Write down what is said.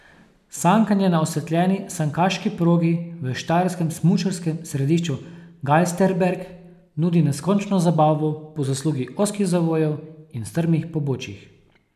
Sankanje na osvetljeni sankaški progi v štajerskem smučarskem središču Galsterberg nudi neskončno zabavo po zaslugi ozkih zavojev in strmih pobočij.